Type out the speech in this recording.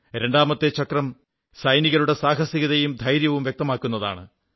രണ്ടാമത്തെ ചക്രം സൈനികരുടെ സാഹസികതയും ധൈര്യവും വ്യക്തമാക്കുന്നതാണ്